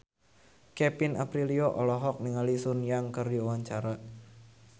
Kevin Aprilio olohok ningali Sun Yang keur diwawancara